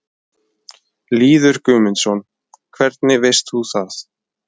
Lýður Guðmundsson: Hvernig veist þú það?